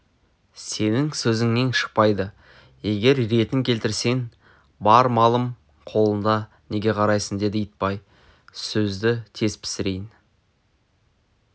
сенің сөзіңнен шықпайды егер ретін келтірсең бар малым қолыңда неге қарайсың деді итбай сөзді тез пісірейін